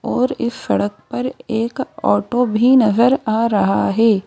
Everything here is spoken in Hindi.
और इस सड़क पर एक ऑटो भी नजर आ रहा है।